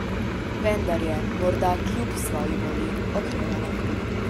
Vendar je, morda kljub svoji volji, okrevala.